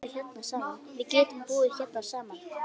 Við getum búið hérna saman.